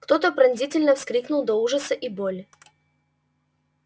кто то пронзительно вскрикнул от ужаса и боли